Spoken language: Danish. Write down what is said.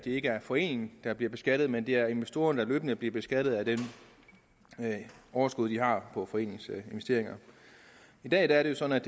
ikke er foreningen der bliver beskattet men det er investorerne der løbende bliver beskattet af det overskud de har på foreningens investeringer i dag er det sådan